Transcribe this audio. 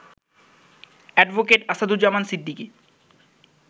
advocate Asaduzzaman Siddiqui